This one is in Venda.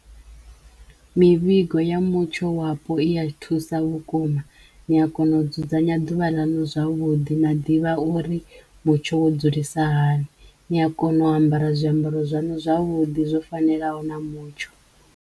Mivhigo ya mutsho wapo i ya thusa vhukuma ni a kona u dzudzanya ḓuvha ḽaṋu zwavhuḓi na ḓivha uri mutsho wo dzulisa hani, niya kona u ambara zwiambaro zwaṋu zwavhuḓi zwo fanelaho na mutsho.